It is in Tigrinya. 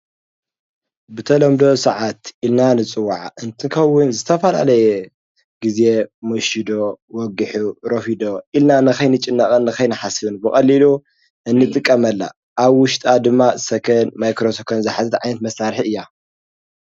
ብተለምዶ ሰዓት ኢልና እንፅዋዓ እንትኸዉን ዝተፈልላለየ ጊዜ መሽዩ ዶ ወጊሑ ረፊዱ ዶ ኢልና ንከይንጭነቕን ንከይንሓስብን ብቐሊሉ እንጥቀመላ አብ ዉሽጣ ድማ ሰከንድ፣ ማይክሮ ሰከንድ ዝሓዘት መሳርሒ እያ።